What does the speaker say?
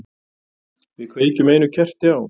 Við kveikjum einu kerti á.